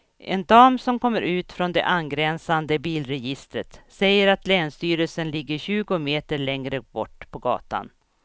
En dam som kommer ut från det angränsande bilregistret säger att länsstyrelsen ligger tjugo meter längre bort på gatan.